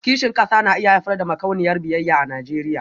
Kishin kasa na iya haifar da makauniyar biyayya a Najeriya